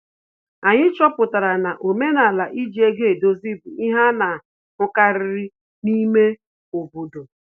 Anyị chọpụtara na omenala iji ego edozi bụ ihe ana ahụkarịrị n'ime ime obodo